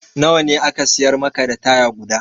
Na wa ne aka siyar maka da taya guda?